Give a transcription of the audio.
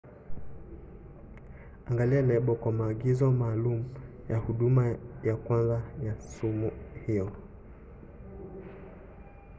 angalia lebo kwa maagizo maalum ya huduma ya kwanza ya sumu hiyo